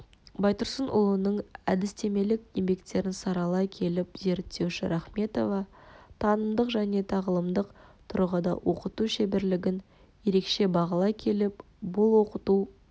байтұрсынұлының әдістемелік еңбектерін саралай келіп зерттеуші рахметова танымдық және тағылымдық тұрғыда оқыту шеберлігін ерекше бағалай келіп бұл оқыту